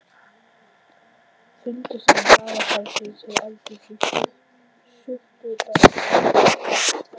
Fundarstaður blaðfarsins og aldinsins er í Surtarbrandsgili við Brjánslæk.